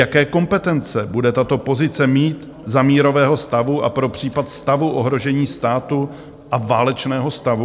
Jaké kompetence bude tato pozice mít za mírového stavu a pro případ stavu ohrožení státu a válečného stavu?